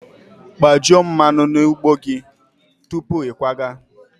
Kpajuo mmanụ na ụgbọ gị tupu ịkwaga!